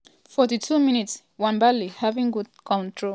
42mins- nwabali having good control of di ball as e keep di ball for im side.